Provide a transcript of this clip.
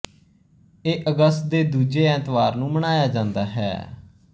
ਇਹ ਅਗਸਤ ਦੇ ਦੂਜੇ ਐਤਵਾਰ ਨੂੰ ਮਨਾਇਆ ਜਾਂਦਾ ਹੈ